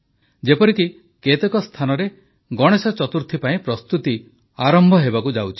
ଯେପରିକି କେତେକ ସ୍ଥାନରେ ଗଣେଶ ଚତୁର୍ଥୀ ପାଇଁ ପ୍ରସ୍ତୁତି ଆରମ୍ଭ ହେବାକୁ ଯାଉଛି